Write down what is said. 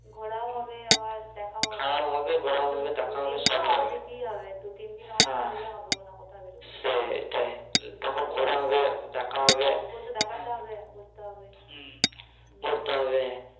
ঘুরাও হবে আবার দেখাও হবে হ্যাঁ ঘোরাও হবে দেখাও হবে সবি হবে ঘোরাও হবে দু তিন দিন ছুটি না নিলে হবে না হ্যাঁ সেটাই হচ্ছে তখন ঘোরা হবে দেখা হবে হ্যাঁ বাবুকে তো দেখাতে হবে ঘুরতে হবে হু.